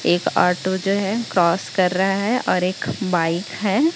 एक ऑटो जो है क्रॉस कर रहा है और एक बाइक है।